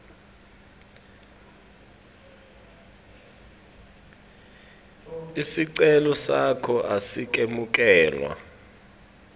sicelo sakho asikemukelwa